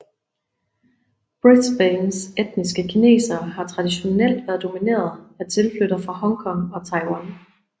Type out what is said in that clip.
Brisbanes etniske kinesere har traditionelt været domineret af tilflyttere fra Hong Kong og Taiwan